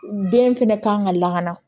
Den fɛnɛ ka kan ka lakana